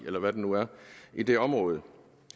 eller hvad den nu er i det område